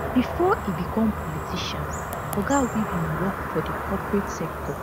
bifor e become politician oga were bin work for di corporate sector